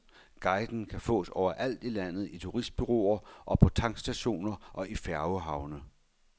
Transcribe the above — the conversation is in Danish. Guiden kan fås overalt i landet i turistbureauer og på tankstationer og i færgehavne.